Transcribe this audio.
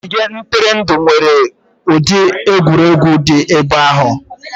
Ogige ntụrụndụ nwere ụdị egwuregwu dị n'ebe ahụ.